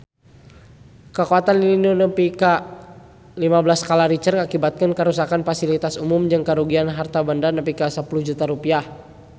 Kakuatan lini nu nepi lima belas skala Richter ngakibatkeun karuksakan pasilitas umum jeung karugian harta banda nepi ka 10 juta rupiah